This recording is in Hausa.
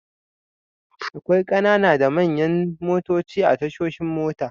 Akwai ƙanana da manyan motoci a tashoshin mota.